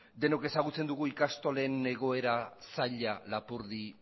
denok ezagutzen dugu ikastolen egoera zaila lapurdi